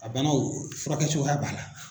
A banaw furakɛcogoya b'a la.